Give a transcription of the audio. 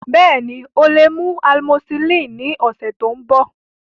Bẹẹni, o le mu amosillini ni ọsẹ to nbọ.